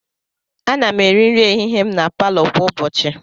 Ana m eri nri ehihie m na palọ kwa ụbọchị.